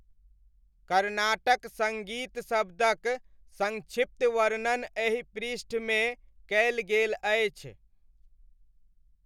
कर्नाटक सङ्गीत शब्दक संक्षिप्त वर्णन एहि पृष्ठमे कयल गेल अछि।